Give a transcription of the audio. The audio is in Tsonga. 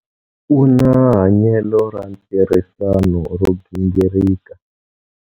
U na hanyelo ra ntirhisano ro gingirika.